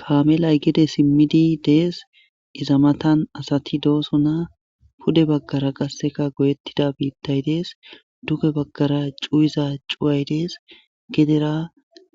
Kaame laggidi simmidi dees. Iza matan asati doosona .Pude baggara qasseka goyettida biittay dees .Duge baggara cuyiza cuway dees. Gedera